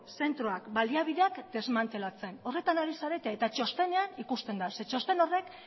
zentroak baliabideak desmantelatzen horretan ari zarete eta txostenean ikusten da zeren txosten horrek